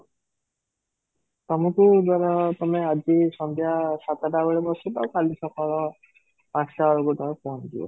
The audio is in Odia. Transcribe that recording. ତମକୁ ଧର ତମେ ଆଜି ସନ୍ଧ୍ୟା ସାତଟା ବେଳେ ବସିଲ କାଲି ସକାଳ ପାଞ୍ଚଟା ବେଳକୁ ତମେ ପହଞ୍ଚି ଯିବ